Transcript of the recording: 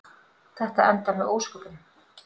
Þetta endar með ósköpum.